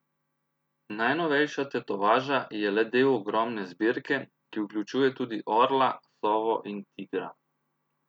Najnovejša tetovaža je le del ogromne zbirke, ki vključuje tudi orla, sovo in tigra.